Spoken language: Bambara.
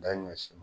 Da ɲɔ si